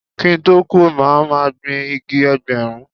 Kí n tó kú, mo máa gbin igi Ẹgbẹ̀rún.